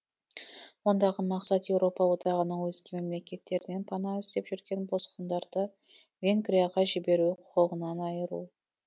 ондағы мақсат еуропа одағының өзге мемлекеттерінен пана іздеп жүрген босқындарды венгрияға жіберу құқығынан айыру